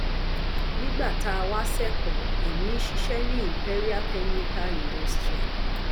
nígbà tá a wá sẹkọọ ẹmí ń ṣiṣẹ ní imperial chemical industria